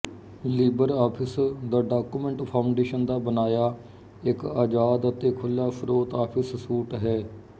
Libre office the Document Foundation ਦਾ ਬਣਾਇਆ ਇੱਕ ਆਜ਼ਾਦ ਅਤੇ ਖੁੱਲ੍ਹਾ ਸਰੋਤ ਆਫ਼ਿਸ ਸੂਟ ਹੈ